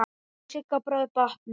Láttu Sigga bróður batna.